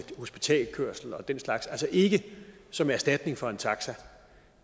hospitalskørsel og den slags altså ikke som erstatning for en taxa